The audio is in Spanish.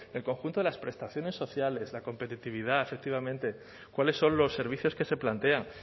en el conjunto de las prestaciones sociales la competitividad efectivamente cuáles son los servicios que se plantean